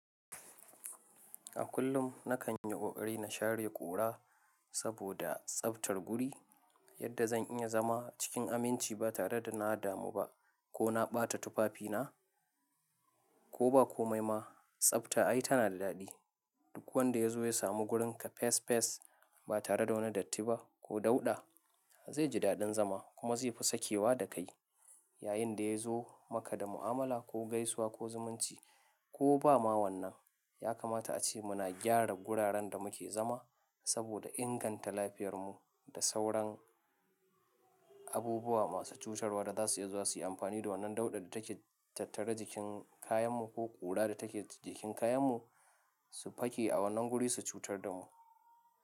A kullum nakan yi ƙoƙari na share ƙura saboda tsaftar guri yadda zan iya zama cikin aminci ba tare da na damu ba ko na ɓata tufafi na, ko ba komai ma. Tsafta ai tana da daɗi. Duk wanda ya zo ya samu wurinka fes fes ba tare da wani datti ba ko dauɗa, zai ji daɗin zama kuma zai fi sakewa da kai yayin da ya zo maka da mu'amala ko gaisuwa ko zumunci ko ba ma wannan. Ya kamata ace muna gyara guraren da muke zama saboda inganta lafiyar mu da sauran abubuwa masu cutarwa da za su iya zuwa su yi amfani da wannan dauɗar da take tattare jikin kayan mu ko ƙura da take jikin kayan mu su faki a wannan guri su cutar da mu.